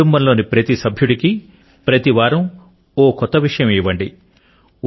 కుటుంబములోని ప్రతి సభ్యుడికి ప్రతి వారం ఒక కొత్త విషయం ఇవ్వండి